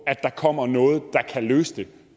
at der kommer noget der kan løse det